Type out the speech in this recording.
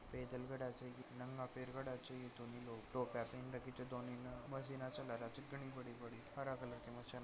मशीन चला रहा छ घनी बड़ी बड़ी --